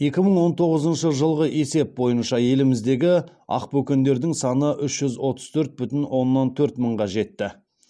екі мың он тоғызыншы жылғы есеп бойынша еліміздегі ақбөкендердің саны үш жүз отыз төрт бүтін оннан төрт мыңға жетті